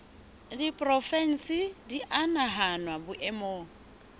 diporofensi di a nahanwa boemong